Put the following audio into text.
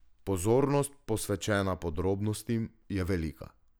Pozornost posvečena podrobnostim je velika.